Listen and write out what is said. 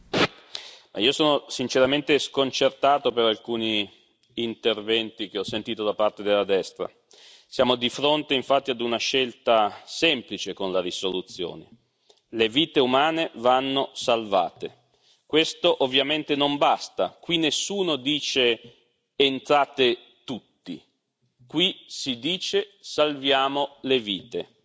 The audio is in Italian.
Signora Presidente, onorevoli colleghi, io sono sinceramente sconcertato per alcuni interventi che ho sentito da parte della destra. Siamo di fronte, infatti, ad una scelta semplice con la risoluzione le vite umane vanno salvate, questo ovviamente non basta. Qui nessuno dice, entrate tutti, qui si dice, salviamo le vite,